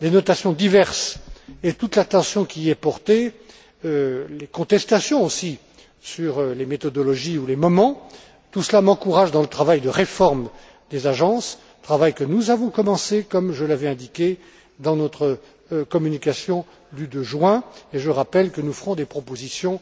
Les notations diverses, et toute l'attention qui y est portée, les contestations aussi sur les méthodologies ou les moments, tout cela m'encourage dans le travail de réforme des agences, travail que nous avons commencé comme je l'avais indiqué dans notre communication du 2 juin, et je rappelle que nous ferons des propositions